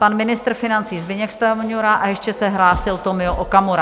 Pan ministr financí Zbyněk Stanjura a ještě se hlásil Tomio Okamura.